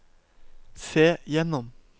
se gjennom